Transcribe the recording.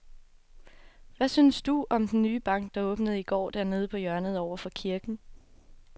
Hvad synes du om den nye bank, der åbnede i går dernede på hjørnet over for kirken?